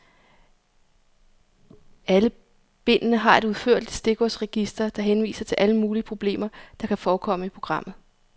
Alle bindene har et udførligt stikordsregister, der henviser til alle mulige problemer, der kan forekomme i programmet.